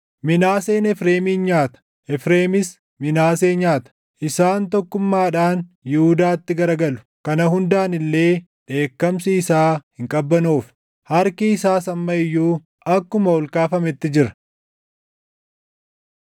Minaaseen Efreemin nyaata; Efreemis Minaasee nyaata; isaan tokkummaadhaan Yihuudaatti garagalu. Kana hundaan illee dheekkamsi isaa hin qabbanoofne; harki isaas amma iyyuu akkuma ol kaafametti jira.